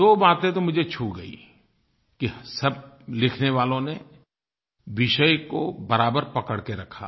दो बातें तो मुझे छू गईं कि सब लिखने वालों ने विषय को बराबर पकड़ के रखा